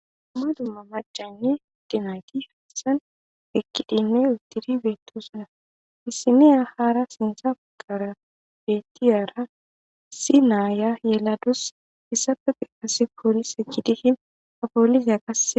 Dumma dumma macanne ade nayti hassan eqidinne uttiri betosona issiniya haara sinta bagara bettiyara issi naaya yeladus hissappe guye qase polise gidishin ha poliseya qasse